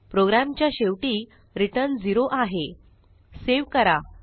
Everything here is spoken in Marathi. प्रोग्रॅमच्या शेवटी रिटर्न 0 आहे सेव्ह करा